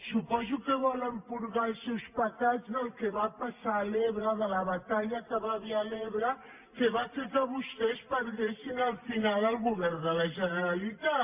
suposo que volen purgar els seus pecats del que va passar a l’ebre de la batalla que hi va haver a l’ebre que va fer que vostès perdessin al final el govern de la generalitat